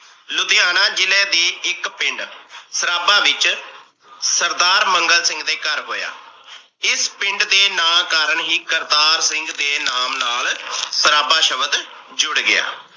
ਲੁਧਿਆਣਾ ਜਿਲੇ ਦੇ ਇਕ ਪਿੰਡ ਸਰਾਬਾ ਵਿਚ ਸਰਦਾਰ ਮੰਗਲ ਸਿੰਘ ਦੇ ਘਰ ਹੋਇਆ। ਇਸ ਪਿੰਡ ਦੇ ਨਾਂ ਕਾਰਣ ਹੀ ਕਰਤਾਰ ਸਿੰਘ ਦੇ ਨਾਮ ਨਾਲ ਸਰਾਬਾ ਸ਼ਬਦ ਜੁੜ ਗਿਆ।